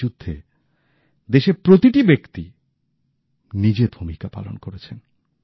এই যুদ্ধে দেশের প্রতিটি ব্যক্তি নিজের ভূমিকা পালন করেছেন